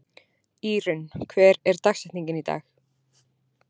Írunn, hver er dagsetningin í dag?